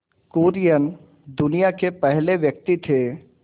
कुरियन दुनिया के पहले व्यक्ति थे